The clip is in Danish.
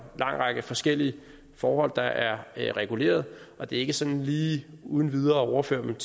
lang række forskellige forhold der er regulerede og det er ikke sådan lige uden videre at overføre dem